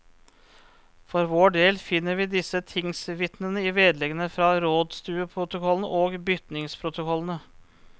For vår del finner vi disse tingsvitnene i vedleggene fra rådstueprotokollene og bytingsprotokollene.